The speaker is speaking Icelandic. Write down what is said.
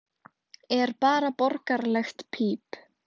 er bara borgaralegt píp.